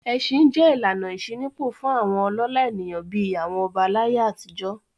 Ẹṣin jẹ́ ìlànà ìṣínípò fún àwọn ọlọ́lá ènìyàn bí i àwọn ọba láyé àtijọ́.